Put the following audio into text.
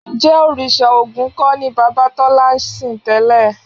Ǹjẹ́ òrìṣà Ògún kọ́ ni bàbá Tọ́lá ń sìn tẹ́lẹ̀?